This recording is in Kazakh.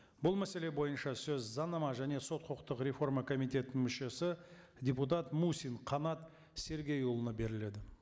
бұл мәселе бойынша сөз заңнама және сот құқықтық реформа комитетінің мүшесі депутат мусин қанат сергейұлына беріледі